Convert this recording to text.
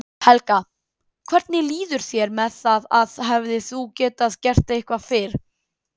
Helga: Hvernig líður þér með það að hefðir þú getað gert eitthvað fyrr?